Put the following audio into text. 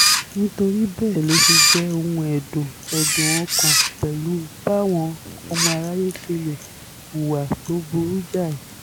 nítorí bẹ́ẹ̀ ló ṣe jẹ́ ohun ẹ̀dùn ẹ̀dùn ọkàn pẹ̀lú báwọn ọmọ aráyé ṣe lè hùwà tó burú jáì